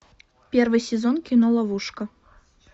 первый сезон кино ловушка